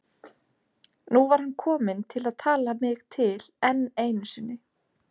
Nú var hann kominn til að tala mig til enn einu sinni.